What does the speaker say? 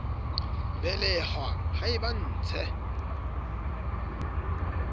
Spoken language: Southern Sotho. belehwa ha e ba ntshe